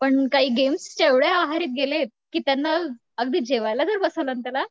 पण काही गेम्सच्या एवढ्या आहारी गेलेत की त्यांना अगदी जेवायला जरी बसवलं ना त्याला